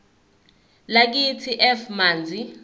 lakithi f manzi